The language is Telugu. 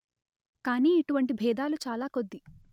కాని ఇటువంటి భేదాలు చాలా కొద్ది